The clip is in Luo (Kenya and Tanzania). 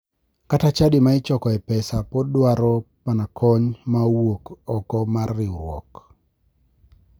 Kata chadi ma ichokoe pesa podi dwaro mana kony ma owuok oko mar riwruok.